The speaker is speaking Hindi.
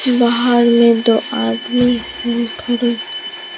बाहर में दो आदमी है खड़े--